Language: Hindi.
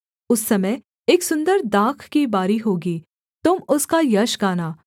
उस समय एक सुन्दर दाख की बारी होगी तुम उसका यश गाना